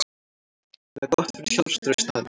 Það er gott fyrir sjálfstraust hans.